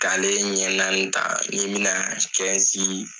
K'ale ɲɛ naani ta ni bɛna